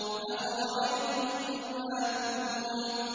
أَفَرَأَيْتُم مَّا تُمْنُونَ